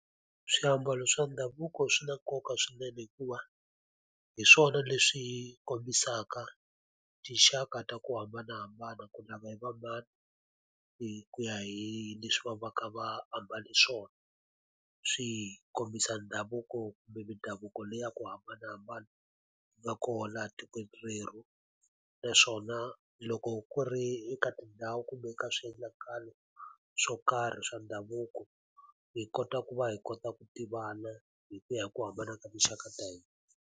Swiambalo swa ndhavuko swi na nkoka swinene hikuva, hi swona leswi kombisaka tinxaka ta ku hambanahambana ku lava hi va mani hi ku ya hi leswi va va ka va hambane swona. Swi kombisa ndhavuko kumbe mindhavuko leyi ya ku hambanahambana yi nga kona etikweni rerhu. Naswona loko ku ri eka tindhawu kumbe eka swiendlakalo swo karhi swa ndhavuko, hi kota ku va hi kota ku tivana hi ku ya hi ku hambana ka tinxaka ta hina.